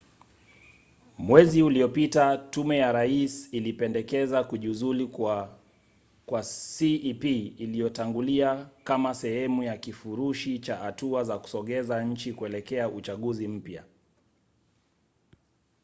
mwezi uliopita tume ya rais ilipendekeza kujiuzulu kwa cep iliyotangulia kama sehemu ya kifurushi cha hatua za kusogeza nchi kuelekea uchaguzi mpya